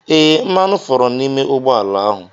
Ee, mmanụ foro n'ime ụgbọ ala ahụ.